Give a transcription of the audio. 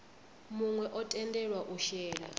muwe o tendelwa u shela